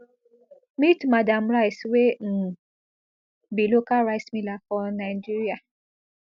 meet madam rice wey um be local rice miller for nigeria